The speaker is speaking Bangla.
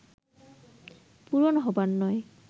পূরণ হবার নয়